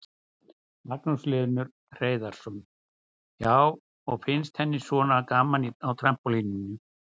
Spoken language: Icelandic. Magnús Hlynur Hreiðarsson: Já, og finnst henni svona gaman á trampólíninu?